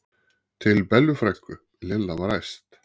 til Bellu frænku, Lilla var æst.